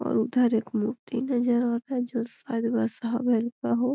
और उधर एक मूर्ति नजर आवे जो का हो।